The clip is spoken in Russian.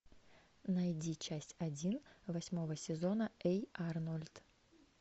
найди часть один восьмого сезона эй арнольд